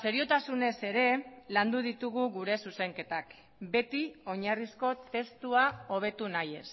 seriotasunez ere landu ditugu gure zuzenketak beti oinarrizko testua hobetu nahiez